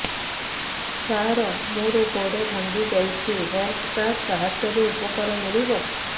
ସାର ମୋର ଗୋଡ଼ ଭାଙ୍ଗି ଯାଇଛି ହେଲ୍ଥ କାର୍ଡ ସାହାଯ୍ୟରେ ଉପକାର ମିଳିବ